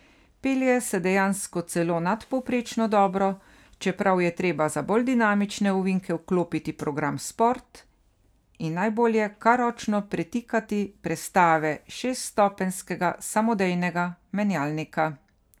Pelje se dejansko celo nadpovprečno dobro, čeprav je treba za bolj dinamične ovinke vklopiti program sport in najbolje kar ročno pretikati prestave šeststopenjskega samodejnega menjalnika.